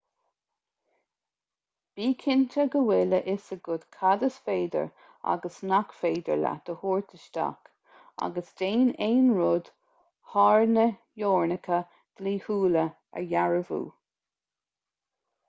bí cinnte go bhfuil a fhios agat cad is féidir agus nach féidir leat a thabhairt isteach agus déan aon rud thar na teorainneacha dlíthiúla a dhearbhú